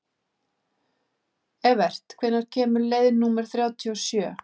Evert, hvenær kemur leið númer þrjátíu og sjö?